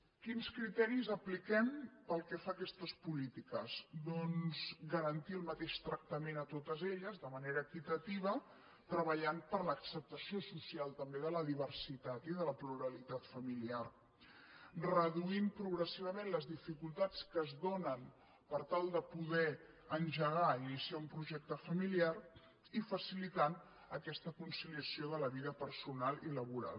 quins criteris apliquem pel que fa a aquestes polítiques doncs garantir el mateix tractament a totes elles de manera equitativa treballant per l’acceptació social també de la diversitat i de la pluralitat familiar reduint progressivament les dificultats que es donen per tal de poder engegar i iniciar un projecte familiar i facilitant aquesta conciliació de la vida personal i laboral